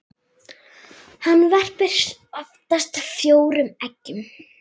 Hann verpir oftast fjórum eggjum.